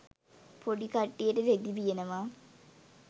පොඩි කට්ටියට රෙදි වියනවා